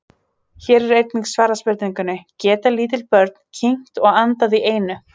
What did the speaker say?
Hér er einnig svarað spurningunni: Geta lítil börn kyngt og andað í einu?